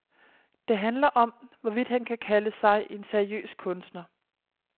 Det handler om, hvorvidt han kan kalde sig en seriøs kunstner.